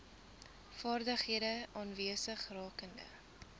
vaardighede aanwesig rakende